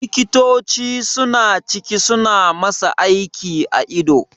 Likitoci suna ciki suna masa aiki a ido